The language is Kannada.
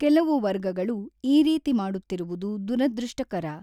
ಕೆಲವು ವರ್ಗಗಳು ಈ ರೀತಿ ಮಾಡುತ್ತಿರುವುದು ದುರದೃಷ್ಟಕರ.